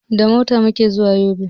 Da mota muke zuwa yobe